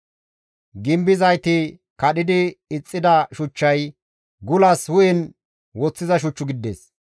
Gimbizayti kadhidi ixxida shuchchay gulas hu7en woththiza shuch gidides.